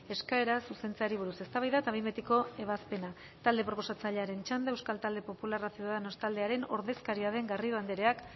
eskaera zuzentzeari buruz eztabaida eta behin betiko ebazpena talde proposatzailearen txanda euskal talde popularra ciudadanos taldearen ordezkaria den garrido andreak